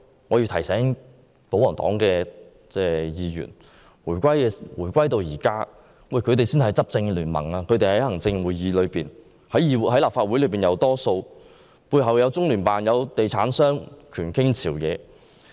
我想提醒保皇黨議員，回歸至今，他們才是執政聯盟，既有行政會議成員，又在立法會佔多數席位，背後還有中聯辦和地產商，權傾朝野。